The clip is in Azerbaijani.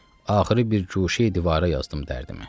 Axırı bir guşəyi divara yazdım dərdini.